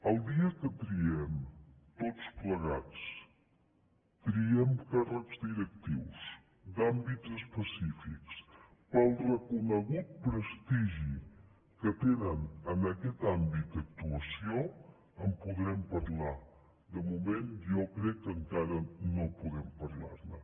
el dia que triem tots plegats triem càrrecs directius d’àmbits específics per al reconegut prestigi que tenen en aquest àmbit d’actuació en podrem parlar de moment jo crec que encara no podem parlar ne